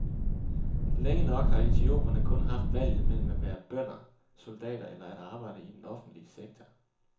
Længe nok har etiopierne kun haft valget mellem at være bønder, soldater eller at arbejde i den offentlige sektor.